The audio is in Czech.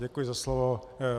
Děkuji za slovo.